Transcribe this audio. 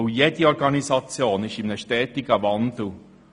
Jede Organisation befindet sich in einem stetigen Wandel.